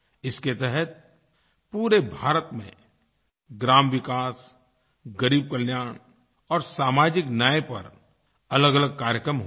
इसके तहत पूरे भारत में ग्रामविकास ग़रीबकल्याण और सामाजिकन्याय पर अलगअलग कार्यक्रम होंगे